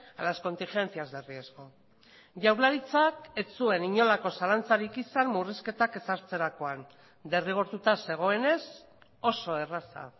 a las contingencias de riesgo jaurlaritzak ez zuen inolako zalantzarik izan murrizketak ezartzerakoan derrigortuta zegoenez oso erraza